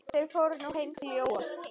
Þeir fóru nú heim til Jóa.